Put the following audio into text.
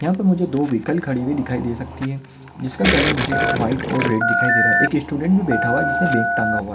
यहा पर मुझे दो व्हेहिकल खड़ी हुई दिखाई दे सकती है जिसका कलर मुझे व्हाइट और रेड दिखाई दे रहा है एक स्टुडेंट भी बैठा हुआ है जिसने बॅग टंगा हुआ है।